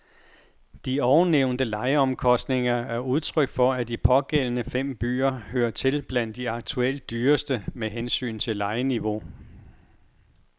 De ovennævnte lejeomkostninger er udtryk for, at de pågældende fem byer hører til blandt de aktuelt dyreste med hensyn til lejeniveau.